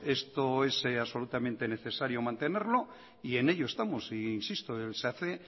esto es absolutamente necesario mantenerlo y en ello estamos e insisto se hace